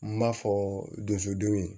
N b'a fɔ donsodi